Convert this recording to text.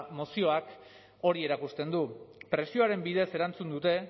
mozioak hori erakusten du presioaren bidez erantzun dute